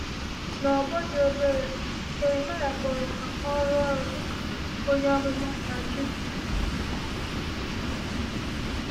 N’ọgbọ dị obere, Jeremaịa kpọrọ ka ọ rụọ ọrụ dị ka onye amụma n’Judah.